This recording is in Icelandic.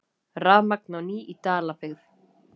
Rafmagn á ný í Dalabyggð